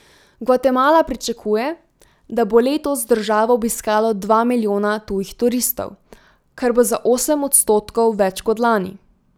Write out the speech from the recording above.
Gvatemala pričakuje, da bo letos državo obiskalo dva milijona tujih turistov, kar bo za osem odstotkov več kot lani.